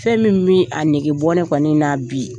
Fɛn min mi a nege bɔ ne kɔni na bi